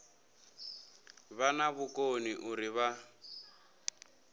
vha na vhukoni uri vha